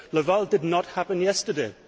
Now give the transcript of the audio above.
Laval did not happen yesterday.